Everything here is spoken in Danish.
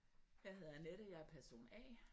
Jeg hedder Annette jeg er person A